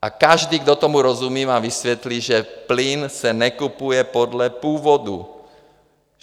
A každý, kdo tomu rozumí, vám vysvětlí, že plyn se nekupuje podle původu.